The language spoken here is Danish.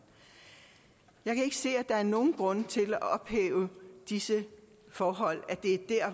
jeg kan ikke se at der er nogen grund til at ophæve disse forhold